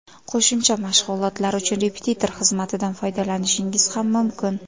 Qo‘shimcha mashg‘ulotlar uchun repetitor xizmatidan foydalanishingiz ham mumkin.